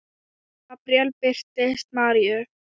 Gabríel birtist Maríu